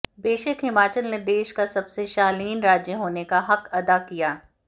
बेशक हिमाचल ने देश का सबसे शालीन राज्य होने का हक अदा किया